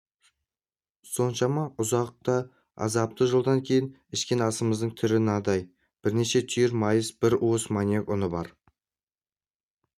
соншама ұзақ та азапты жолдан кейін ішкен асымыздың түрі мынадай бірнеше түйір майыс бір уыс маниок ұны бар